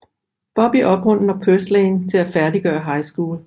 Bobby opmuntrer Purslane til at færdiggøre High School